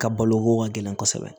Ka balo ko ka gɛlɛn kosɛbɛ